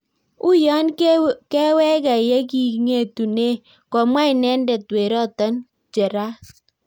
"Uyoon kewegee yeking'etunee "komwaa inedet werotol Geraat